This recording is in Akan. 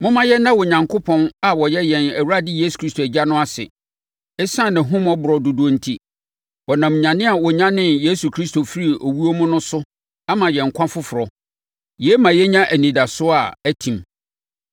Momma yɛnna Onyankopɔn a ɔyɛ yɛn Awurade Yesu Kristo Agya no ase. Esiane nʼahummɔborɔ dodoɔ enti, ɔnam nyane a ɔnyanee Yesu Kristo firii owuo mu no so ama yɛn nkwa foforɔ. Yei ma yɛnya anidasoɔ a atim,